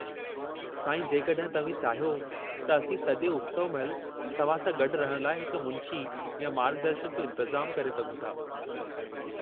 साईं, जेकॾहिं तव्हीं चाहियो त असीं सॼे उत्सव महिल तव्हां सां गॾु रहण लाइ हिकु मुंशी या मार्गदर्शक जो इंतिज़ामु करे सघूं था।